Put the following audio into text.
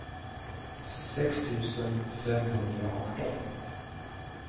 sex tusen femhundraarton